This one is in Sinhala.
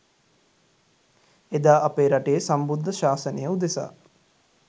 එදා අපේ රටේ සම්බුද්ධ ශාසනය උදෙසා